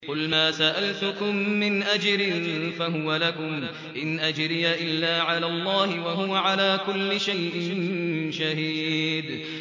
قُلْ مَا سَأَلْتُكُم مِّنْ أَجْرٍ فَهُوَ لَكُمْ ۖ إِنْ أَجْرِيَ إِلَّا عَلَى اللَّهِ ۖ وَهُوَ عَلَىٰ كُلِّ شَيْءٍ شَهِيدٌ